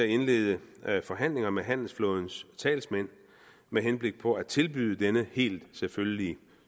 indlede forhandlinger med handelsflådens talsmænd med henblik på at tilbyde denne helt selvfølgelig